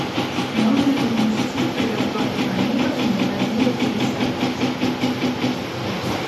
можно ли внести предоплату бронирования в размере пятьдесят процентов от суммы